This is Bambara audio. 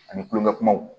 Ani kulonkɛ kumaw